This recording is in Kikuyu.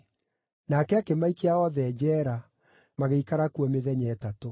Nake akĩmaikia othe njeera, magĩikara kuo mĩthenya ĩtatũ.